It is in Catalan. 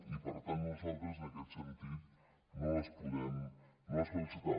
i per tant nosaltres en aquest sentit no les podem acceptar